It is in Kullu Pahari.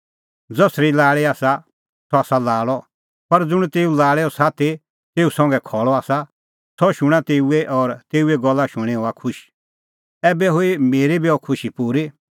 ज़सरी लाल़ी आसा सह आसा लाल़अ पर ज़ुंण तेऊ लाल़ेओ साथी तेऊ संघै खल़अ आसा सह शूणां तेऊए और तेऊए गल्ला शूणीं हआ खुश ऐबै हुई मेरी बी अह खुशी पूरी